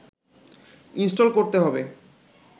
install করতে হবে